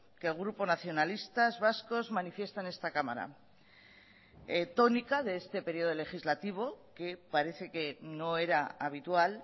que el grupo nacionalistas vascos manifiesta en esta cámara tónica de este periodo legislativo que parece que no era habitual